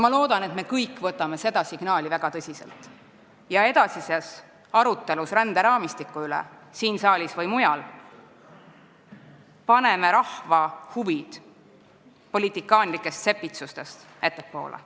Ma loodan, et me kõik võtame seda signaali väga tõsiselt ja paneme edasises arutelus ränderaamistiku üle siin saalis või mujal rahva huvid politikaanlikest sepitsustest ettepoole.